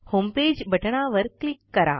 homepage बटणावर click करा